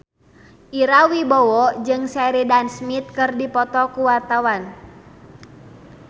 Ira Wibowo jeung Sheridan Smith keur dipoto ku wartawan